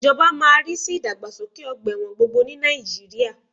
Ìjọba máa má rí sí ìdàgbàsókè ọgbà ẹ̀wọ̀n gbogbo ní Nàìjíríà